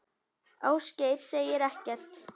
Ásgeir segir ekkert.